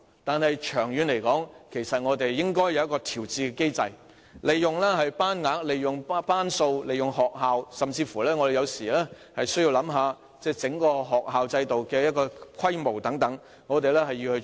但是，長遠而言，其實我們應設立調節機制，善用班額、班數和學校的設施，甚至需要思考整個學校制度的規模等，這是我們應該做的事。